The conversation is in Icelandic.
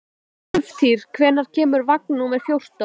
Úlftýr, hvenær kemur vagn númer fjórtán?